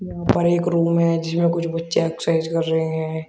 उपर एक रूम है जिसमें कुछ बच्चे एक्सरसाइज कर रहे हैं।